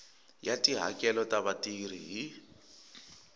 ya tihakelo ta vatirhi hi